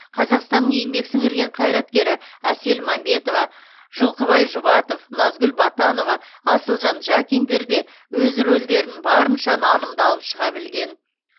қазақстанның еңбек сіңірген қайраткері әсел мәмбетова жылқыбай жұбатов назгүл батанова асылжан жакиндер де өз рөлдерін барынша нанымды алып шыға білген